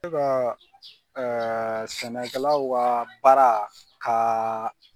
kaa sɛnɛkɛlaw kaa baara k'aa